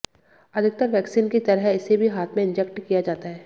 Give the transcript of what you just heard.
अधिकतर वैक्सीन की तरह इसे भी हाथ में इंजेक्ट किया जाता है